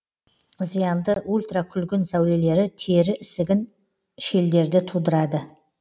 зиянды ультрокүлгін сәулелері тері ісігін шелдерді тудырады